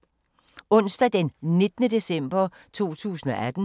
Onsdag d. 19. december 2018